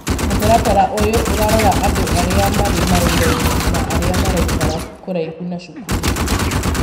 mũtaratara ũyũ ũrarora andũ arĩa marĩ mawĩra-inĩ na aria maraikara kũraihu na cukuru.